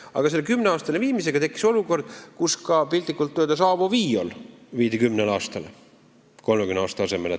Aga selle muudatusega tekkis olukord, kus näiteks ka Avo Viioli võlg hakkas kehtima 10 aastat 30 aasta asemel.